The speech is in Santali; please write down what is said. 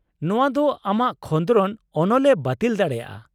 ᱱᱚᱶᱟ ᱫᱚ ᱟᱢᱟᱜ ᱠᱷᱚᱸᱫᱽᱨᱚᱱ ᱚᱱᱚᱞ ᱮ ᱵᱟᱹᱛᱤᱞ ᱫᱟᱲᱮᱭᱟᱜᱼᱟ ᱾